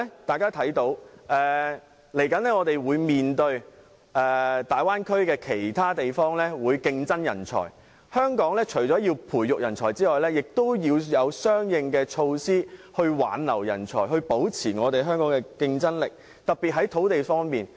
但是，接下來大灣區其他地方會與我們爭奪人才，所以，香港除了培育人才外，亦要有相應的措施挽留人才，特別是在土地方面，才能保持香港的競爭力。